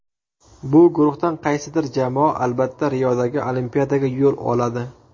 Bu guruhdan qaysidir jamoa albatta Riodagi Olimpiadaga yo‘l oladi.